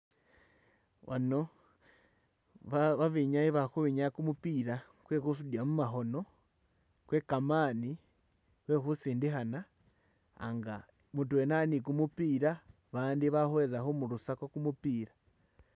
Ano babenyayi balikhwinyaa kumupila kwekhusundila mumakhono kwekamani kwekhusindikhana mudwena ali ni kumupila bandi balihweza khumurusakho kumupila